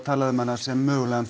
talað um hana sem mögulegan